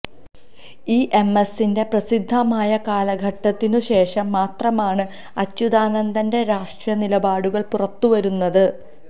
E M എസിന്റെ പ്രസിദ്ധമായ കാലഘട്ടത്തിനു ശേഷം മാത്രമാണ് അച്യുതാനന്ദന്റെ രാഷ്ട്രീയ നിലപാടുകള് പുറത്തു വരുന്നത്